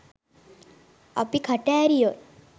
අපි කට ඇරියොත්